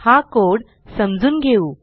हा कोड समजून घेऊ